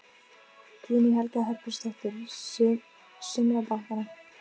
Guðný Helga Herbertsdóttir: Sumra bankanna?